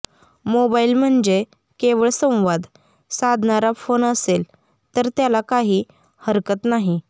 mobile म्हणजे केवळ संवाद साधणारा फोन असेल तर त्याला काही हरकत नाही